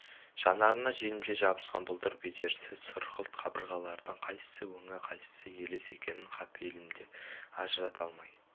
жанарына желімше жабысқан бұлдыр-бедерсіз сұрғылт қабырғалардың қайсысы өңі қайсысы елес екенін қапелімде ажырата алмай